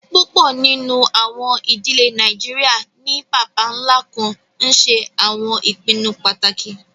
Púpọ nínu àwọn idílẹ̀ Nàìjíríà ni bàbá-nlá kàn nṣẹ àwọn ìpìnnú pátákì.